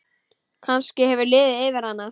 Kannski hefur liðið yfir hana?